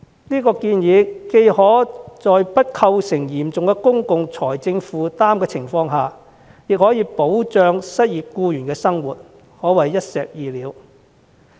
這建議既不構成沉重的公共財政負擔，又可以保障失業人士的生活，可謂一石二鳥。